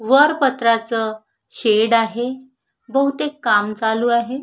वर पत्र्याचं शेड आहे बहुतेक काम चालू आहे.